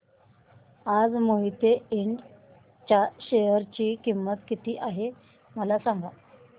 आज मोहिते इंड च्या शेअर ची किंमत किती आहे मला सांगा